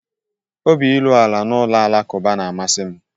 Obi iru ala na ụlọ alakụba na-amasị m